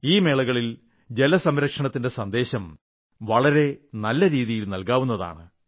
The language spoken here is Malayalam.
ഈ മേളകളിൽ ജലസംരക്ഷണത്തിന്റെ സന്ദേശം വളരെ നല്ല രീതിയിൽ നൽകാവുന്നതാണ്